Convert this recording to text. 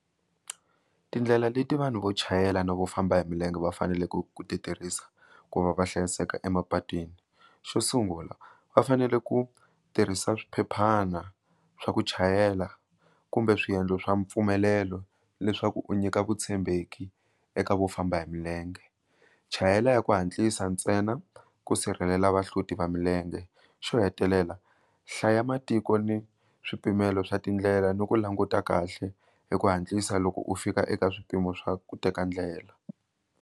Tindlela leti vanhu vo chayela no vo famba hi milenge va faneleke ku ti tirhisa ku va va hlayiseka emapatwini xo sungula va fanele ku tirhisa swiphephana swa ku chayela kumbe swiendlo swa mpfumelelo leswaku u nyika vutshembeki eka vo famba hi milenge, chayela ya ku hatlisa ntsena ku sirhelela vahloti va milenge xo hetelela hlaya matiko ni swipimelo swa tindlela ni ku languta kahle hi ku hatlisa loko u fika eka swipimelo swo swa ku teka ndlela.